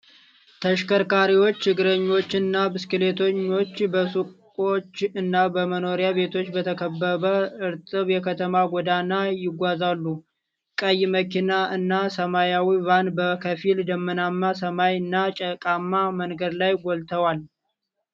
ተሽከርካሪዎች፣ እግረኞች እና ብስክሌተኛ በሱቆች እና በመኖሪያ ቤቶች በተከበብ እርጥብ የከተማ ጎዳና ይጓዛሉ። ቀይ መኪና እና ሰማያዊ ቫን በከፊል ደመናማ ሰማይ እና ጭቃማ መንገድ ላይ ጎልተዋል።